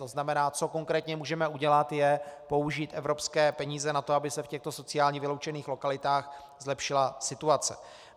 To znamená, co konkrétně můžeme udělat, je použít evropské peníze na to, aby se v těchto sociálně vyloučených lokalitách zlepšila situace.